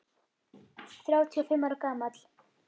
Þrjátíu og fimm ára gamall.